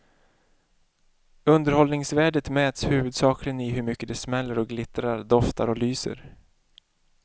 Underhållningsvärdet mäts huvudsakligen i hur mycket det smäller och glittrar, doftar och lyser.